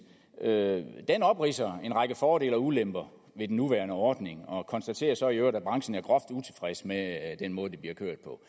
opridser en række fordele og ulemper ved den nuværende ordning og konstaterer så i øvrigt at branchen er groft utilfreds med den måde det bliver kørt på